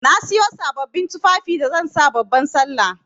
Na Siyo sabbabin tufafi da zan sa babban sallah.